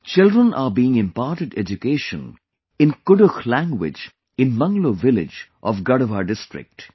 Children are being imparted education in Kudukh language in Manglo village of Garhwa district